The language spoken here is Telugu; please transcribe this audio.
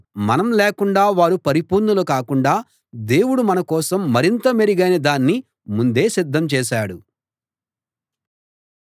మనం లేకుండా వారు పరిపూర్ణులు కాకుండా దేవుడు మనకోసం మరింత మెరుగైన దాన్ని ముందే సిద్ధం చేశాడు